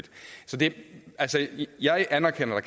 et jeg anerkender at